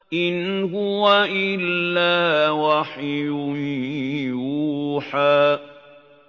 إِنْ هُوَ إِلَّا وَحْيٌ يُوحَىٰ